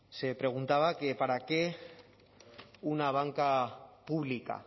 se preguntaba que para qué una banca pública